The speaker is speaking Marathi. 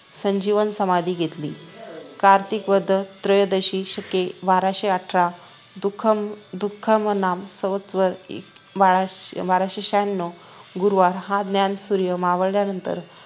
संजीवन समाधी घेतली कार्तिक वध त्रयोदशी शके बाराशेआठरा दुःख दुःखमनांन संवत्सर बाराशे बाराशे शहान्नव गुरुवार हा ज्ञानसूर्य मावळल्यानंतर